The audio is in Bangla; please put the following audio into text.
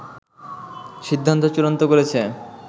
সিদ্ধান্ত চূড়ান্ত করেছে